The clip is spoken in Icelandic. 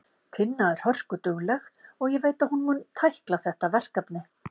Tinna er hörkudugleg og ég veit að hún mun tækla þetta verkefni.